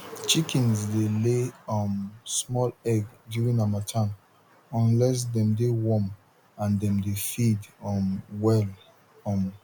chickens dey lay um small egg during harmattan unless dem de warm and dem dey feed um well um